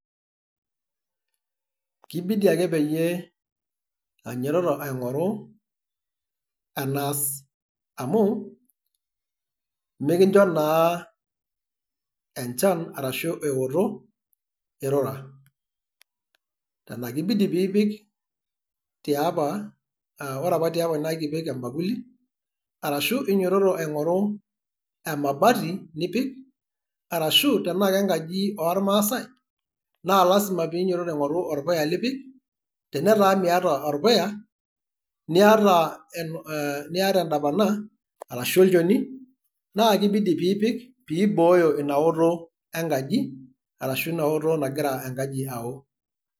Kibidi ake peyie ainyototo aing'oru enaas. Amu, mikincho naa enchan arashu eoto, irura. Ena kibidi piipik tiapa, ah ore apa tiapa na kepikieki ebakuli, arashu inyototo aing'oru emabati nipik, arashu tenaa nkenkaji ormaasai, na lasima pe inyototo aing'oru orpuya lipik. Tenetaa miata orpuya, niata eh niata edapana, arashu olnchoni, na kibidi piipik, pibooyo inaoto enkaji, arashu inaoto nagira enkaji ao.